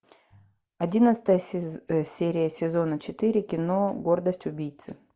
одиннадцатая серия сезона четыре кино гордость убийцы